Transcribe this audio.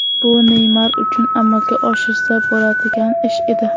Bu Neymar uchun amalga oshirsa bo‘ladigan ish edi.